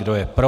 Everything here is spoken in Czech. Kdo je pro?